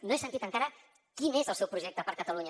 no he sentit encara quin és el seu projecte per a catalunya